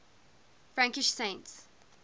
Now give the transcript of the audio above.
frankish saints